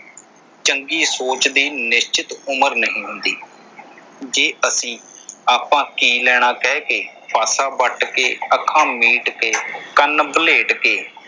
ਚੰਗੀ ਸੋਚ ਦੀ ਨਿਸ਼ਚਿਤ ਉਮਰ ਨਹੀਂ ਹੁੰਦੀ ਜੇ ਅਸੀਂ ਆਪਾਂ ਕੀ ਲੈਣਾ ਕਹਿ ਕੇ, ਪਾਸਾ ਵੱਟ ਕੇ, ਅੱਖਾਂ ਮੀਟ ਕੇ, ਕੰਨ ਵਲ੍ਹੇਟ ਕੇ,